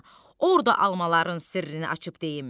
Orda almaların sirrini açıb deyim.